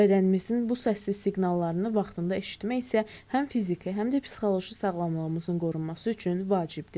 Bədənimizin bu səssiz siqnallarını vaxtında eşitmək isə həm fiziki, həm də psixoloji sağlamlığımızın qorunması üçün vacibdir.